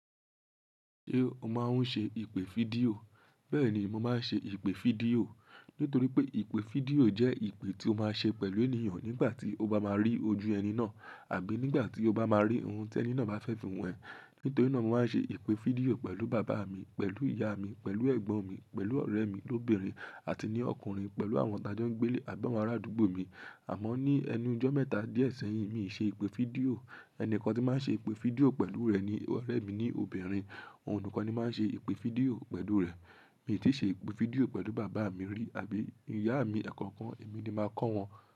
Ṣé o máa ń ṣe ìpè fídíò? Bẹ́ẹ̀ ni mo máa ń ṣe ìpè fídíò. Nítorí pé ìpè fídíò jẹ́ ìpè tí o máa ṣe pẹ̀lú ènìyàn nígbà tí o bá máa rí ojú ẹni náà àbí nígbà tí o bá máa rí ohun tí ẹni náà bá fẹ́ fihan ẹ. Nítorí náà mo máa ń ṣe ìpè fídíò pẹ̀lú bàbá mi, pẹ̀lú ìyá mi, pẹ̀lú ẹ̀gbọ́n mi, pẹ̀lú ọ̀rẹ́ mi lóbìnrin àti ní ọkùnrin, pẹ̀lú àwọn tájọ́ńgbélé àbí àwọn ará àdúgbò mi. Àmọ́ ní ẹnu ijọ̀ mẹ́ta díẹ̀ sẹ́yìn mi ì ṣe ìpè fídíò. Ẹni kan tí n màá ṣe ìpè fídíò pẹ̀lú rẹ̀ ni ọ̀rẹ́ mi lóbìnrin. Òhun nìkan ni mà n ṣe ìpè fídíò pẹ̀lú rẹ̀. Mí o ti ṣe ìpè fídíò pẹ̀lú bàbá mi rí àbí ìyá mi èkankan èmi ni màá kọ́ wọn.